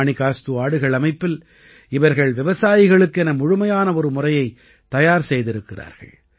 மாணிகாஸ்து ஆடுகள் அமைப்பில் இவர்கள் விவசாயிகளுக்கென முழுமையான ஒரு முறையைத் தயார் செய்திருக்கிறார்கள்